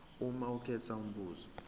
uma ukhetha umbuzo